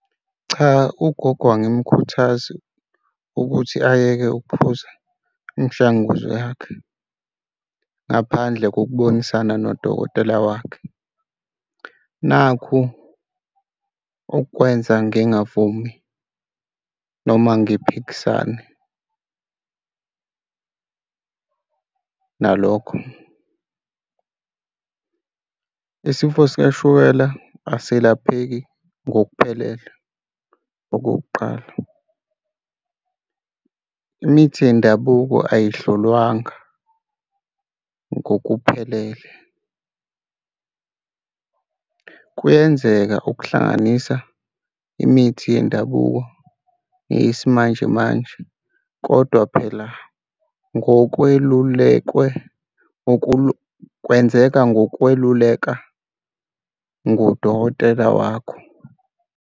Cha, ugogo angimukhuthaze ukuthi ayeke ukuphuza imishanguzo yakhe ngaphandle kokubonisana nodokotela wakhe. Nakhu okwenza ngingavumi noma ngiphikisane nalokho. Isifo sikashukela asilapheki ngokuphelele, okokuqala. Imithi yendabuko ayihlolwanga ngokuphelele. Kuyenzeka ukuhlanganisa imithi yendabuko neyesimanjemanje kodwa phela ngokwelulekwe kwenzeka ngokweluleka ngudokotela wakho.